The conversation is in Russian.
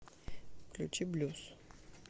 включи блюз